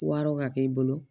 Wɔrɔ ka kɛ i bolo